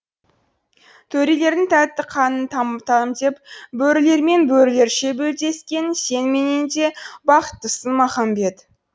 төрелердің тәтті қанын тамтам деп бөрілермен бөрілерше белдескен сен менен де бақыттысың махамбет